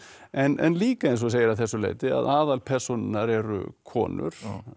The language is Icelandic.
en líka eins og þú segir að þessu leyti að aðalpersónurnar eru konur